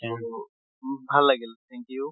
আৰু মোক ভাল লাগিল thank you